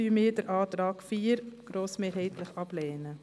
Deshalb lehnen wir den Antrag 4 grossmehrheitlich ab.